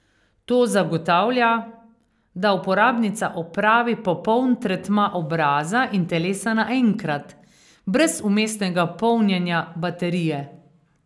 To zagotavlja, da uporabnica opravi popoln tretma obraza in telesa naenkrat, brez vmesnega polnjenja baterije.